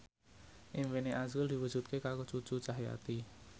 impine azrul diwujudke karo Cucu Cahyati